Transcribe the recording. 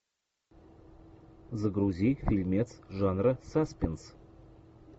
загрузи фильмец жанра саспенс